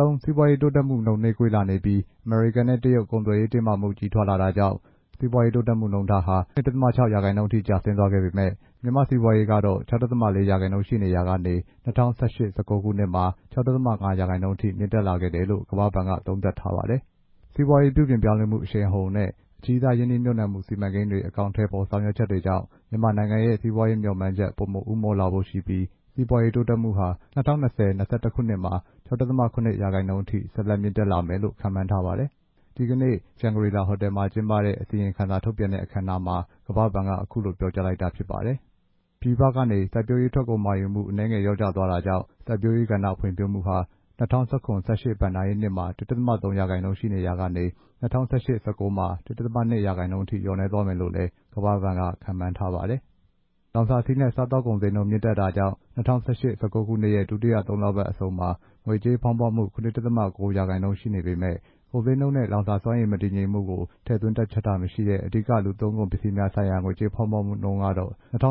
လုံး စီးပွားရေးတိုးတက်မှုနှုန်း နှေးကွေးလာနေပြီး အမေရိကန်နဲ့ တရုတ်ကုန်သွယ်ရေး တင်းမာမှုကြီးထွားလာတာကြောင့် ကမ္ဘာတလွှား စီပွားရေးတိုးတက်မှုနှုန်းထားဟာ ၂.၆ ရာခိုင်နှုန်းအထိ နှေးကွေးသွားခဲ့ပေမယ့် မြန်မာ့စီးပွားရေး ၆.၄ ရာခိုင်နှုန်းရှိနေရာကနေ ၂ဝ၁၈-၁၉ မှာ ၆.၅ ရာခိုင်နှုန်းအထိ မြင့်တက်လာခဲ့တယ်လို့ ကမ္ဘာ့ဘဏ်က သုံးသပ်ထားပါတယ်။ စီပွားရေးပြုပြင်ပြောင်းလဲမှု အရှိန်အဟုန်နဲ့ အကြီးစားရင်းနှီးမြှုပ်နှံမှု စီမံကိန်းတွေ အကောင်အထည်ဖော်ဆောင်ရွက်ချက်တွေကြောင့် မြန်မာနိုင်ငံရဲ့ စီးပွားရေးမျှော်မှန်းချက် ပိုမိုဦးမော့လာဖို့ရှိပြီး စီးပွားရေးတိုးတက်မှုဟာ ၂ဝ၂ဝ-၂၁ ခုနှစ်မှာ ၆.၇ ရာခိုင်နှုန်းအထိ ဆက်လက် မြင့်တက်လာမယ်လို့ ခန့်မှန်းထားပါတယ်။ ဒီနေ့ရန်ကုန်၊ ဆူးလေရှန်ဂရီလာဟိုတယ်မှာ ကျင်းပတဲ့ အစီရင်ခံစာ ထုတ်ပြန်တဲ့အခမ်းအနားမှာ ကမ္ဘာ့ဘဏ်က အခုလို ပြောကြားလိုက်တာဖြစ်ပါတယ်။ ပြည်ပကနေ စိုက်ပျိုးရေး ထွက်ကုန်မှာယူမှု အနည်းငယ် လျော့ကျသွားတာကြောင့် စိုက်ပျိုးရေးကဏ္ဍဖွံ့ဖြိုးမှုဟာ ၂ဝ၁၇-၁၈ ဘဏ္ဍာရေးနှစ်မှာ ၁.၃ ရာခိုင်နှုန်းရှိနေရာကနေ ၂ဝ၁၈-၁၉ မှာ ၁.၂ ရာခိုင်နှုန်းအထိ လျော့နည်းသွားမယ်လို့လည်း ကမ္ဘာ့ဘဏ်က ခန့်မှန်းထားပါတယ်။ လောင်စာဆီနဲ့ စားသောက်ကုန်ဈေးနှုန်း မြင့်တက်တာကြောင့် ၂ဝ၁၈-၁၉ ခုနှစ်ရဲ့ ဒုတိယ သုံးလပတ်အဆုံးမှာ ငွေကြေးဖောင်းပွမှု ၇.၉ ရာခိုင်နှုန်း ရှိနေပေမယ့် ကုန်ဈေးနှုန်းနဲ့ လောင်စာစွမ်းအင် မတည်ငြိမ်မှုကို ထည့်သွင်းတွက်ချက်တာမရှိတဲ့ အဓိက လူသုံးကုန်ပစ္စည်းများဆိုင်ရာ ငွေကြေးဖောင်းပွမှုနှုန်းကတော့ ၂ဝ၁၈-၁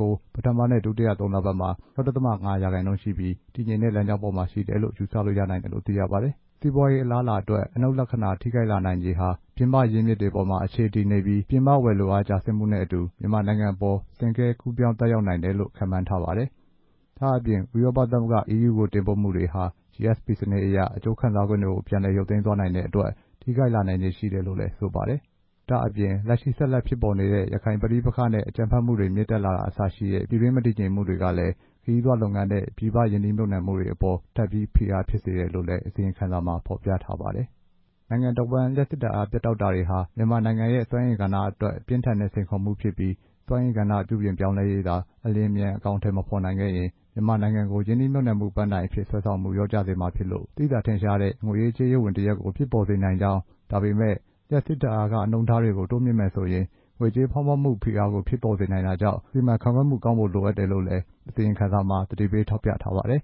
၉ ပထမနဲ့ ဒုတိယ သုံးလပတ်မှာ ၆.၅ ရာခိုင်နှုန်းရှိပြီး တည်ငြိမ်တဲ့ လမ်းကြောင်းပေါ်မှာ ရှိတယ်လို့ ယူဆလို့ ရနိုင်တယ်လို့ သိရပါတယ်။ စီးပွားရေးအလားအလာအတွက် အနှုတ်လက္ခဏာထိခိုက်လာနိုင်ခြေဟာ ပြင်ပရင်းမြစ်တွေပေါ်မှာ အခြေတည်နေပြီး ပြင်ပဝယ်လိုအား ကျဆင်းမှုနဲ့အတူ မြန်မာနိုင်ငံအပေါ် ဆင့်ကဲ ကူးပြောင်းသက်ရောက်နိုင်တယ်လို့ ခန့်မှန်းထားပါတယ်။ ဒါ့အပြင် ဥရောပသမဂ္ဂ EU ကို တင်ပို့မှုတွေဟာ GSP စနစ်အရ အကျိုးခံစားခွင့်တွေကို ပြန်လည်ရုပ်သိမ်းသွားနိုင်တဲ့အတွက် ထိခိုက်လာနိုင်ခြေရှိတယ်လို့ ဆိုပါတယ်။ ဒါ့အပြင် လက်ရှိဆက်လက်ဖြစ်ပေါ်နေတဲ့ ရခိုင်ပဋိပက္ခနဲ့ အကြမ်းဖက်မှုတွေ မြင့်တက်လာတာ အစရှိတဲ့ ပြည်တွင်းမတည်ငြိမ်မှုတွေကလဲ ခရီးသွားလုပ်ငန်းနဲ့ ပြည်ပရင်းနှီးမြှုပ်နှံမှုတွေအပေါ် ထပ်ပြီး ဖိအားဖြစ်စေတယ်လို့လည်း အစီရင်ခံစာမှာ ဖော်ပြထားပါတယ်။ နိုင်ငံတဝှမ်း လျှပ်စစ်ဓာတ်အားပြတ်တောက်တာတွေဟာ မြန်မာနိုင်ငံရဲ့ စွမ်းအင်ကဏ္ဍအတွက် ပြင်းထန်တဲ့ စိန်ခေါ်မှုဖြစ်ပြီး စွမ်းအင်ကဏ္ဍပြုပြင်ပြောင်းလဲရေးက အလျင်အမြန် အကောင်အထည်မဖော်နိုင်ခဲ့ရင် မြန်မာနိုင်ငံကို ရင်းနှီးမြှုပ်နှံမှု ပန်းတိုင်အဖြစ် ဆွဲဆောင်မှုကို လျော့ကျစေမှာဖြစ်လို့ သိသာထင်ရှားတဲ့ ငွေရေးကြေးရေးဝန်တစ်ရပ်ကို ဖြစ်ပေါ်စေနိုင်ကြောင်း ဒါပေမယ့် လျှပ်စစ်ဓာတ်အားခနှုန်းထားတွေကို တိုးမြှင့်မယ်ဆိုရင် ငွေကြေးဖောင်းပွမှု ဖိအားကို ဖြစ်ပေါ်စေနိုင်တာကြောင့် ကောင်းစွာ စီမံခန့်ခွဲမှု ကောင်းဖို့လိုအပ်တယ်လို့လဲ အစီရင်ခံစာမှာ သတိပေးထောက်ပြထားပါတယ်